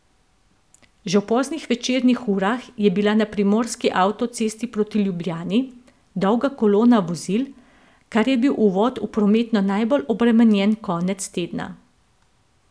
Že v poznih večernih urah je bila na primorski avtocesti proti Ljubljani dolga kolona vozil, kar je bil uvod v prometno najbolj obremenjen konec tedna.